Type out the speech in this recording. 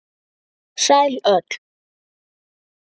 Sæl öll.